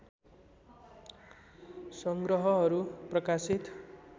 सङ्ग्रहहरू प्रकाशित